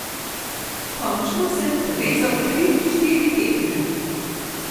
Končno sem povezal tri, štiri tekme.